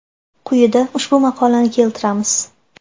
Quyida ushbu maqolani keltiramiz.